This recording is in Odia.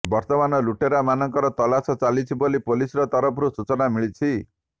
ବର୍ତ୍ତମାନ ଲୁଟେରା ମାନଙ୍କର ତଲାସ ଚାଲିଛି ବୋଲି ପୋଲିସ୍ର ତରଫରୁ ସୂଚନା ମିଳିଛି